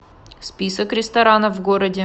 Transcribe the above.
список ресторанов в городе